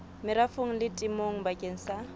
merafong le temong bakeng sa